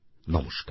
নমস্কার